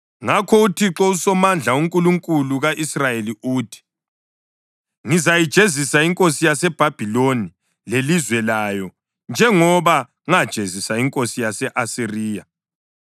Ngakho uThixo uSomandla, uNkulunkulu ka-Israyeli uthi: “Ngizayijezisa inkosi yaseBhabhiloni lelizwe layo njengoba ngajezisa inkosi yase-Asiriya.